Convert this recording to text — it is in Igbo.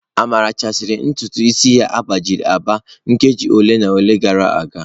Amara sachara ntutu isi ya agbajiri agba nkeji ole na ole gara aga.